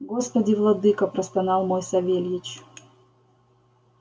господи владыко простонал мой савельич